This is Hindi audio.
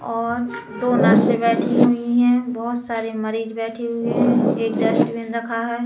और दो नर्से बैठी हुई है। बहोत सारे मरिज बैठे हुए हैं। एक डस्टबिन रखा है।